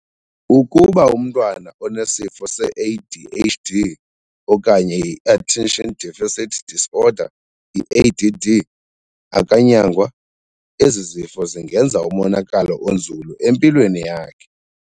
Ukuba umntwa na onesifo se-ADHD okanye iattention deficit disorder, i-ADD, akanyangwa, ezi zifo zingenza umonakalo onzulu empilweni yakhe.